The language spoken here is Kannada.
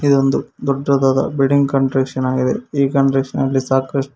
ಇದೊಂದು ದೊಡ್ಡದಾದ ಬಿಲ್ಡಿಂಗ್ ಕಂಟ್ರಕ್ಷನ್ ಆಗಿದೆ ಈ ಕಂಟ್ರಕ್ಷನ್ ನಲ್ಲಿ ಸಾಕಷ್ಟು--